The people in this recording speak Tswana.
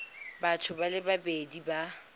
batho ba le babedi ba